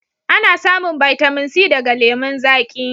Ana samun bitamin C daga lemun zaƙi